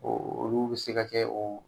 Olu bɛ se ka kɛ o